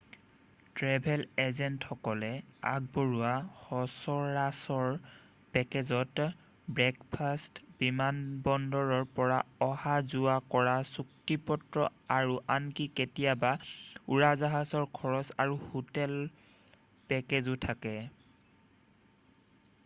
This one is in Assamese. ট্ৰেভেল এজেণ্টসকলে আগবঢ়োৱা সচৰাচৰ পেকেজত ব্ৰেকফাৰ্ষ্ট বিমানবন্দৰৰ পৰা অহা-যোৱা কৰা চুক্তিপত্ৰ আৰু আনকি কেতিয়াবা উৰাজাহাজৰ খৰচ আৰু হোটেল পেকেজো থাকে